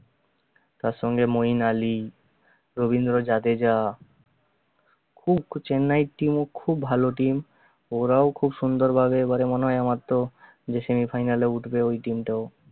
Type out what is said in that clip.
তার সঙ্গে মইন আলি, রবীন্দ্র জাদেজা খুব চেন্নাইর team ও খুব ভালো team ওরাও খুব সুন্দর ভাবে এবারে মনে হয় আমার তো যে semi final এ উঠবে ঐ team টাও